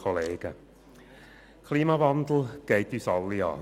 Der Klimawandel geht uns alle an.